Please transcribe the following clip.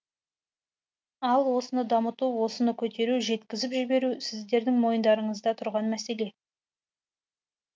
ал осыны дамыту осыны көтеру жеткізіп жіберу сіздердің мойындарыңызда тұрған мәселе